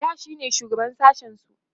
da shine shugaban sashen su